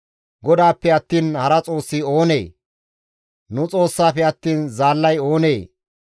GODAAPPE attiin hara Xoossi oonee? nu Xoossaafe attiin zaallay oonee?